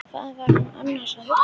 Hvað var hún annars að hugsa?